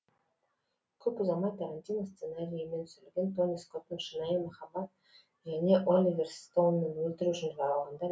көп ұзамай тарантино сценарийімен түсірілген тони скоттың шынайы махаббат және оливер стоунның өлтіру үшін жаралғандар